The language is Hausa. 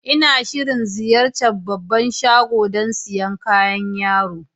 N'na shirin ziyace'n babban shagon dan siyan kayan yaro.